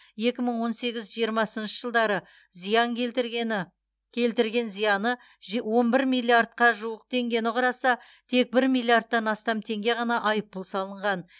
екі мың он сегіз жиырмасыншы жылдары зиян келтіргені келтірген зияны он бір миллиардқа жуық теңгені құраса тек бір миллиардтан астам теңге ғана айыппұл салынған